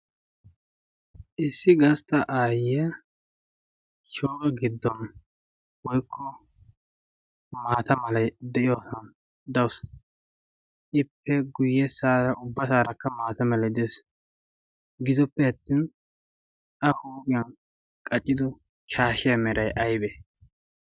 issi gastta aayyea shooga giddon woikko maata malai de7iyoosan daussi ippe guyye saara ubba saarakka maatamala de7es.gidoppe attin a huuphiyan qaccido shaashiya merai aibee?